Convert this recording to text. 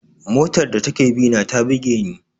Motar da take bina ta buge ni.